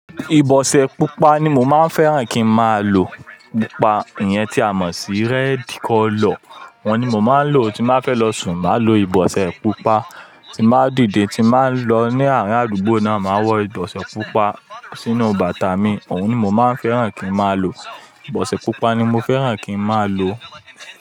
Ìbọ̀sẹ̀ pupa ni mo máa ń fẹ́ràn kí n máa lò. Pupa ìyẹn tí a mọ̀ sí red color. Wọ́n ni mo máa ń lò tí máa fẹ́ lọ sùn, màá lo ìbọ̀sẹ̀ pupa, tí n bàá dìde, tí n bàá n lọ ní àárín àdúgbò náà, màá wọ ìbọ̀sẹ̀ pupa sínú bàtà mi. Òun ni mo máa ń fẹ́ràn kí n máa lò. Ìbọ̀sẹ̀ pupa ni mo fẹ́ràn kí n máa lò.